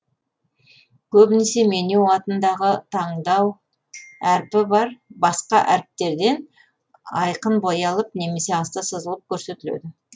көбінесе меню атындағы таңдау әрпі бар басқа әріптерден айқын боялып немесе асты сызылып көрсетіледі